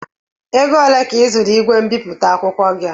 Ego ole ka ị zụrụ ígwè mbipụta akwụkwọ gị a?